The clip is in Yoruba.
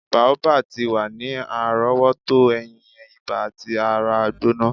Boabab ti wa ni arowoto eyin, iba ati ara gbona.